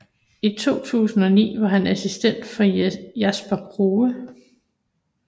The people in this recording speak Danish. I 2009 var han assistent for Jasper Kure